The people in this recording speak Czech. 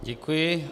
Děkuji.